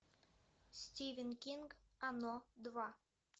стивен кинг оно два